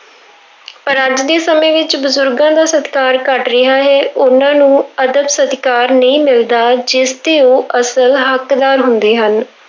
ਪਰ ਅੱਜ ਦੇ ਸਮੇਂ ਵਿੱਚ ਬਜ਼ੁਰਗਾਂ ਦਾ ਸਤਿਕਾਰ ਘੱਟ ਰਿਹਾ ਹੈ, ਉਹਨਾਂ ਨੂੰ ਅਦਬ ਸਤਿਕਾਰ ਨਹੀਂ ਮਿਲਦਾ, ਜਿਸਦੇ ਉਹ ਅਸਲ ਹੱਕਦਾਰ ਹੁੰਦੇ ਹਨ।